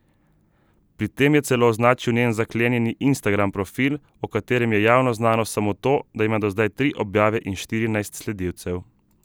Pri tem je celo označil njen zaklenjeni instagram profil, o katerem je javno znano samo to, da ima do zdaj tri objave in štirinajst sledilcev.